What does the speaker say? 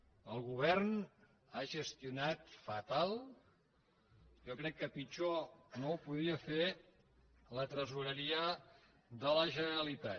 el govern ha gestionat fatal jo crec que pitjor no ho podia fer la tresoreria de la generalitat